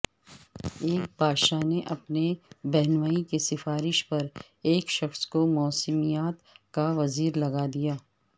ایک بادشاہ نے اپنے بہنوئی کی سفارش پرایک شخص کو موسمیات کا وزیر لگا دیا